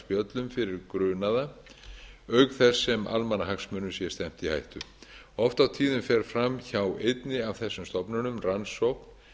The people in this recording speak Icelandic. jafnvel sakarspjöllum fyrir grunaða auk þess sem almannahagsmunum er stefnt í hættu oft á tíðum fer fram hjá einni af þessum stofnunum rannsókn